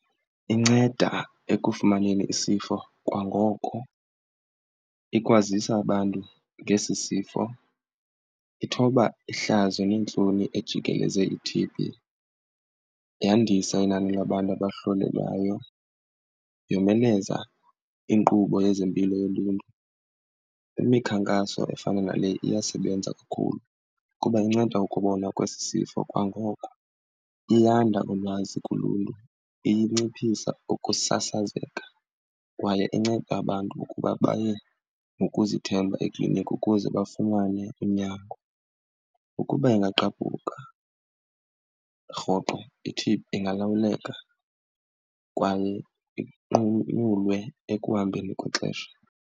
Inceda ekufumaneni isifo kwangoko, ikwazisa abantu ngesi sifo, ithoba ihlazo neentloni ejikeleze i-T_B, yandisa inani labantu abahlolelwayo, yomeleza inkqubo yezempilo yoluntu. Imikhankaso efana nale iyasebenza kakhulu kuba inceda ukubonwa kwesi sifo kwangoko, iyanda ulwazi kuluntu, iye inciphisa ukusasazeka kwaye inceda abantu ukuba baye ngokuzithemba ekliniki ukuze bafumane unyango. Ukuba ingagqabhuka rhoqo i-T_B ingalawuleka kwaye inqunyulwe ekuhambeni kwexesha.